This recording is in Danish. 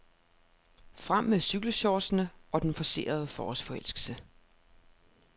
Frem med cykelshortsene og den forcerede forårsforelskelse.